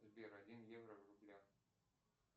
сбер один евро в рублях